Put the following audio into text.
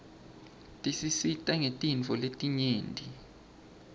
tisisita ngetintfo letinyeti